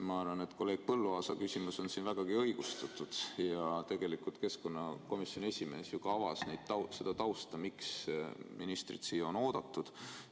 Ma arvan, et kolleeg Põlluaasa küsimus on siin vägagi õigustatud ja tegelikult keskkonnakomisjoni esimees ju ka avas seda tausta, miks ministrit siia on oodatud.